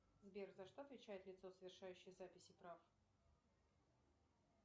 сбер за что отвечает лицо совершающее записи прав